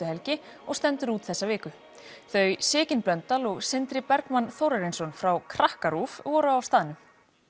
helgi og stendur út þessa viku þau Sigyn Blöndal og Sindri Bergmann Þórarinsson frá Krakkarúv voru á staðnum